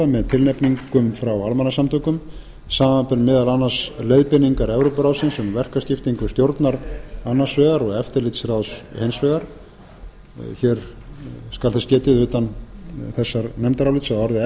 með tilnefningum frá almannasamtökum samanber meðal annars leiðbeiningar evrópuráðsins um verkaskiptingu stjórnar annars vegar og eftirlitsráðs hins vegar hér skal þess getið utan þessa nefndarálits að orðið